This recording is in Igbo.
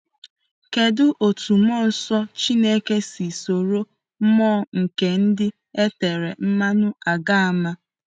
Kedụ otú mmụọ nsọ Chineke si soro mmụọ nke ndị e tere mmanụ agba àmà?